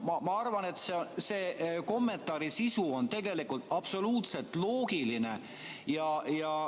Ma arvan, et selle kommentaari sisu on tegelikult absoluutselt loogiline.